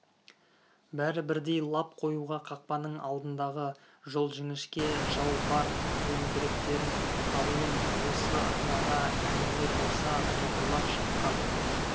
бәрі бірдей лап қоюға қақпаның алдындағы жол жіңішке жау бар зеңбіректерін қаруын осы араға меңзер болса топырлап шапқан